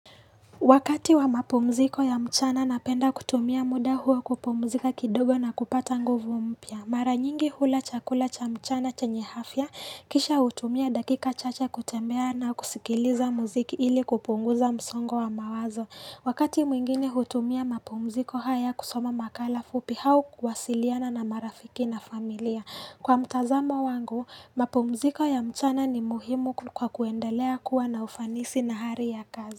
Wakati wa mapumziko ya mchana napenda kutumia muda huo kupumzika kidogo na kupata nguvu mpya. Mara nyingi hula chakula cha mchana chenye afya kisha hutumia dakika chache kutembea na kusikiliza muziki ili kupunguza msongo wa mawazo. Wakati mwingine hutumia mapumziko haya kusoma makala fupi hau kwasiliana na marafiki na familia. Kwa mtazamo wangu, mapumziko ya mchana ni muhimu kwa kuendelea kuwa na ufanisi na hali ya kazi.